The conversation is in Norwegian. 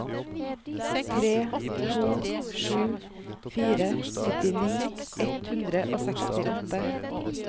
tre to sju fire syttini ett hundre og sekstiåtte